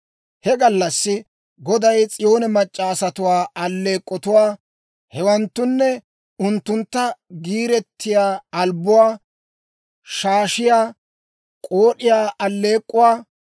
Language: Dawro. He gallassi Goday S'iyoone mac'c'a asatuwaa alleek'k'otuwaa, hewanttunne unttunttu gediyaa albbuwaa, shaashiyaa, k'ood'iyaa aleek'k'uwaa,